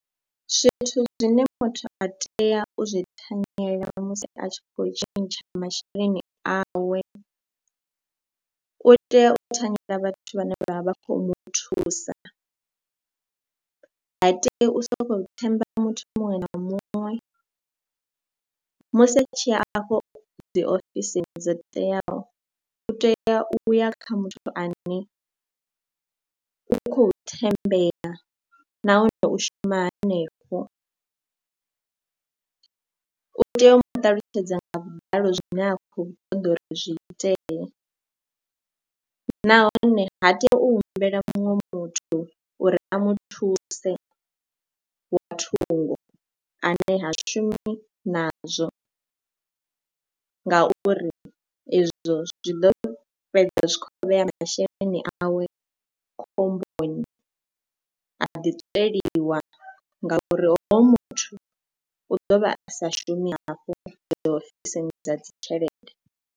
Zwithu zwine muthu a tea u zwi thanyela musi a tshi khou tshintsha masheleni awe, u tea u thanyela vhathu vhane vha vha vha khou mu thusa, ha tei u sokou thembela muthu muṅwe na muṅwe musi a tshi ya afho dzi ofisini dzo teaho. U tea u ya kha muthu ane a u khou thembea nahone u shuma hanefho, u tea u mu ṱalutshedza nga vhuḓalo zwine a khou ṱoḓa uri zwi itee nahone ha tei u humbela muṅwe muthu uri a mu thuse nga thungo ane ha shumi nazwo ngauri izwo zwi ḓo fhedza zwi khou vhea masheleni awe khomboni, a ḓi tsweliwa ngauri hoyo muthu u ḓo vha a sa shumi hafho ofisini dza dzi tshelede.